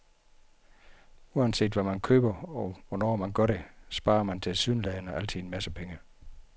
Uanset hvad man køber, og hvornår man gør det, sparer man tilsyneladende altid en masse penge.